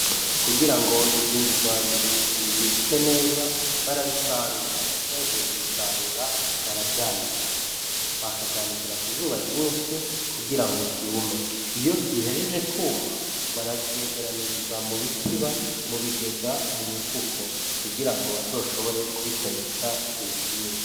Kugira ngo ivyimburwa bibikike neza barabisarura. Bahejeje kubisarura baravyanikira; bakavyanikira ku zuba ryinshi kugira ngo vyume. Iyo bihejeje kwuma, baravyegeraniriza mu bitiba, mu bigega, mu mifuko kugira ngo bazoshobore kubikoresha igihe kinini.